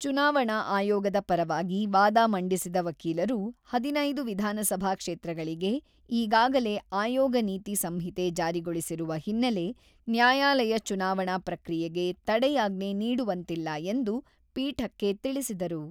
ಚುನಾವಣಾ ಆಯೋಗದ ಪರವಾಗಿ ವಾದ ಮಂಡಿಸಿದ ವಕೀಲರು, ಹದಿನೈದು ವಿಧಾನಸಭಾ ಕ್ಷೇತ್ರಗಳಿಗೆ ಈಗಾಗಲೇ ಆಯೋಗ ನೀತಿ ಸಂಹಿತೆ ಜಾರಿಗೊಳಿಸಿರುವ ಹಿನ್ನೆಲೆ, ನ್ಯಾಯಾಲಯ ಚುನಾವಣಾ ಪ್ರಕ್ರಿಯೆಗೆ ತಡೆಯಾಜ್ಞೆ ನೀಡುವಂತಿಲ್ಲ ಎಂದು ಪೀಠಕ್ಕೆ ತಿಳಿಸಿದರು.